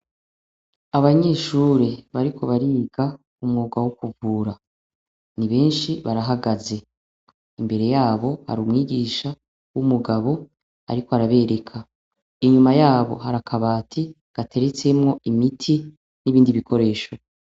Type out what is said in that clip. Abanyeshure bariko biga umwuga wo kuvura ni benshi barahagaze imbere yabo hari umwigisha w' umugabo ariko arabereka inyuma yabo hari akabati gateretsemwo imiti n' ibindi bikoresho.